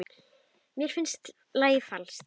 Mér finnst lagið falskt.